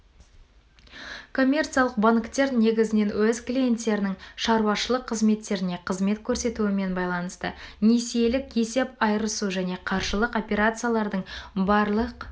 коммерциялық банктер негізнен өз клиенттерінің шаруашылық қызметтеріне қызмет көрсетуімен байланысты несиелік есеп айырысу және қаржылық операциялардың барлық